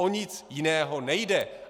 O nic jiného nejde.